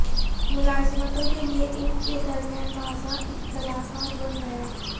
ملازمتوں کے لئے ان کے درمیان واضح اختلافات بن گیا